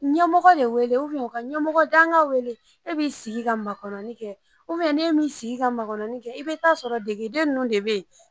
Ɲɛmɔgɔ de wele u ka ɲɛmɔgɔ danka wele e b'i sigi ka makɔnɔni kɛ n'e m'i sigi ka makɔnɔni kɛ i bɛ t'a sɔrɔ degeden ninnu de bɛ yen